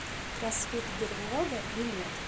кросфит берлога билет